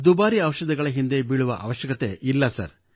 ದುಬಾರಿ ಔಷಧಿಗಳ ಹಿಂದೆ ಬೀಳುವ ಅವಶ್ಯಕತೆಯಿಲ್ಲ ಸರ್